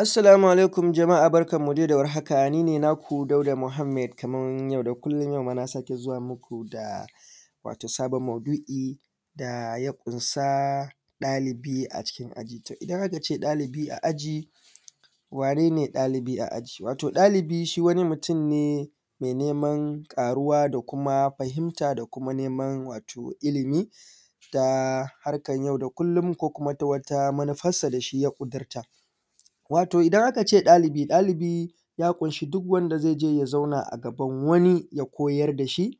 Asssalamu ala’ikun jama’a barkanmu dai da warhaka ni ne naku Dauda Muhammad kaman yau da kullon, yau ma na sake zuwa muku da sabon maudu’i da ya ƙunsa ɗalibi a cikin aji. In aka ce ɗalibi a aji wane ne ɗalibi a aji? Dalibi shi wani mutum ne me neman ƙaruwa da kuma fahimta da kuma wato neman ilimi ta harkan yau da kullon ko kuma ta wani manufarsa da shi ya ƙudurta wato idan aka ce ɗalibi ya ƙunsa duk wanda zai je ya zauna a gaban wani ya koyar da shi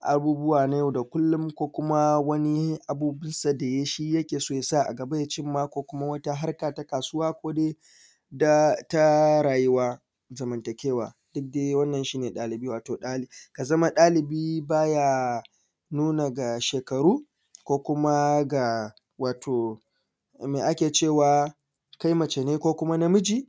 abubuwa na yau da kullun ko kuma wani abu da yake so ya sa a gaba ko kuma wata harka ta kasuwa ko kuma dai ta rayuwan zamantakewa, shi dai wannan shi ne ɗalibi ka za ma ɗalibi ba ya nuna ga shekaru ko kuma ga wa kai mace ne ko na miji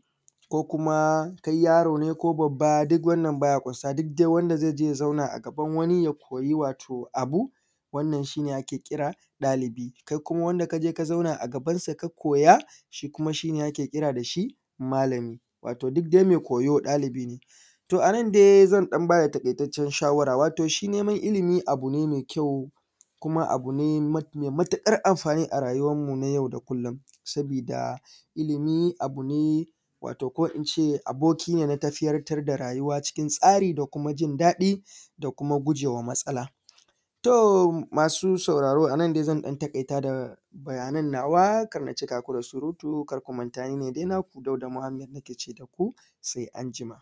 ko kuma kai yaro ne ko babba wannan baya ƙunsa duk wanda ze zauna a gaban wani ya koyi wato wani abu wannan shi ne ake kira ɗalibi, kai kuma wanda ka je ka zauna a gabansa ka koya shi kuma shi ne ake kira da malami wato duk dai me koyo ɗalibi ne to a nan dai zan ba da taƙaitaccen shawara wato shi neman ilimi abu ne me kyau kuma abu ne me matuƙar anfani a rayuwanmu na yau da kullon, sabida ilimi abu ne wato ko in ce aboki ne na tseratar da rayuwa cikin tsari da kuma jin daɗi da kuma gujema matsala. To, masu sauraro a nan dai zan taƙaita da jawaban nawa kar na cika ku da surutu, kar ku manta ni ne dai naku Dauda Muhammad nake ce da ku se anjima.